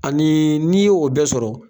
Ani n'i y'o o bɛɛ sɔrɔ